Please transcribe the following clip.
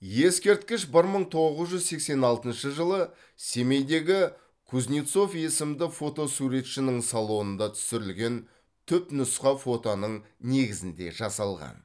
ескерткіш бір мың тоғыз жүз сексен алтыншы жылы семейдегі кузнецов есімді фотосуретшінің салонында түсірілген түпнұсқа фотоның негізінде жасалған